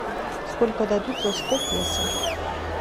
сколько дадут за сто песо